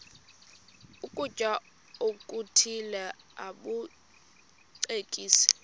ukutya okuthile bakucekise